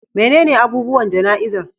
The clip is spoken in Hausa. Menene abubuwan jana'izar?